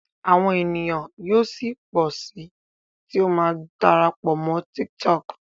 awọn ènìyàn yíò sí pọ sí tí o má dára pọ Mọ TikTok.